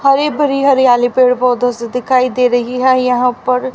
हरि भरी हरियाली पेड़ पौधे सी दिखाई दे रही है यहां पर--